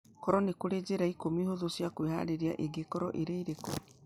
korũo nĩ kũrĩ njĩra ikũmi hũthũ cia kwĩhaarĩria, ingĩkorũo irĩ irĩkũ